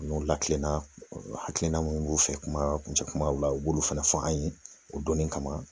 N'u lakilenna hakilina min b'u fɛ kuma kuncɛ kumaw la u b'olu fana fɔ an ye o donni kama